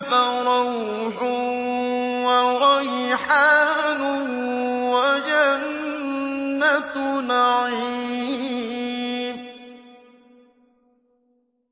فَرَوْحٌ وَرَيْحَانٌ وَجَنَّتُ نَعِيمٍ